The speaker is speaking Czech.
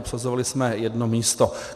Obsazovali jsme jedno místo.